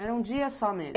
Era um dia só mesmo?